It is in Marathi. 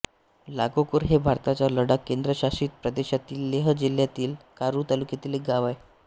लागोकोर हे भारताच्या लडाख केंद्रशासित प्रदेशातील लेह जिल्हातील कारु तालुक्यातील एक गाव आहे